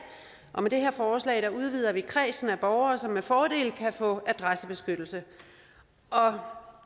og med det her forslag udvider vi kredsen af borgere som med fordel kan få adressebeskyttelse